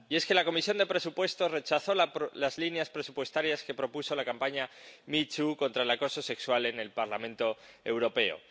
Y es que la Comisión de Presupuestos rechazó las líneas presupuestarias que propuso la campaña MeToo contra el acoso sexual en el Parlamento Europeo.